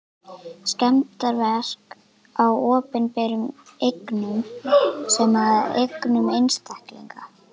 Skemmdarverk á opinberum eignum sem og eignum einstaklinga.